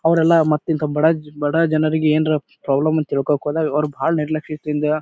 ಅವ್ರೆಲ್ಲ ಮತ್ ಇಂಥ ಬಡ ಬಡ ಜನರಿಗೆ ಏನಾರ ಪ್ರಾಬ್ಲಮ್ ಅಂತ ತಿಳ್ಕೊಳ್ಳೋದಾಕ್ ಹೋದಾಗ ಅವ್ರ್ ಬಹಳ ನೆಗ್ಲೆಕ್ಟ್ ಇತ್ತ್ ಹಿಂದ.